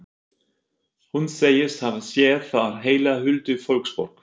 Hún segist hafa séð þar heila huldufólksborg.